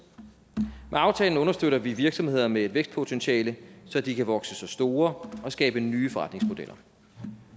med aftalen understøtter vi virksomheder med et vækstpotentiale så de kan vokse sig store og skabe nye forretningsmodeller